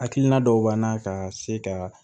Hakilina dɔw b'an na ka se ka